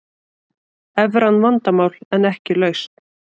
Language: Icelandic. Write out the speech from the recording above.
Evran vandamál en ekki lausn